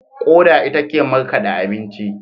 Koda ita ke markade abinci.